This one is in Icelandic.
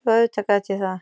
Jú, auðvitað gat ég það.